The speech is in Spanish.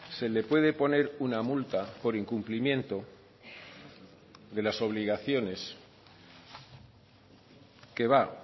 se le puede poner una multa por incumplimiento de las obligaciones que va